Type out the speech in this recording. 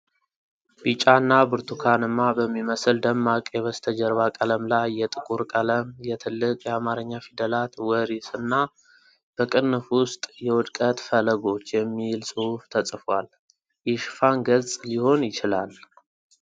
ቢጫ እና ብርቱካንማ በሚመስል ደማቅ የበስተጀርባ ቀለም ላይ የጥቁር ቀለም የትልቅ የአማርኛ ፊደላት “ወሪስ” እና በቅንፍ ውስጥ “የውድቀት ፈለጎች” የሚል ጽሑፍ ተጽፏል። የሽፋን ገጽ ሊሆን ይችላል።